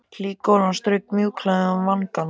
Hlý golan strauk mjúklega um vangana.